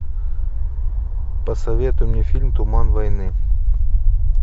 посоветуй мне фильм туман войны